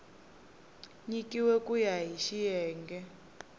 nyikiweke ku ya hi xiyenge